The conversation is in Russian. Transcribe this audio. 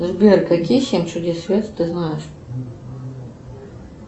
сбер какие семь чудес света ты знаешь